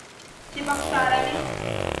чебоксарами